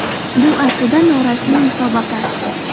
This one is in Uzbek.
Bu aslida norasmiy musobaqa.